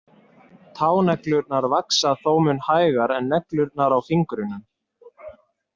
Táneglurnar vaxa þó mun hægar en neglurnar á fingrunum.